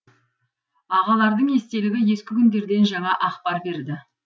ағалардың естелігі ескі күндерден жаңа ақпар берді